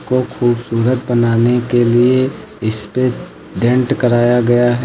और खूबसूरत बनाने के लिए इसपे डेंट कराया गया है।